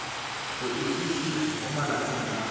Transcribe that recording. go itsise mo malatsing a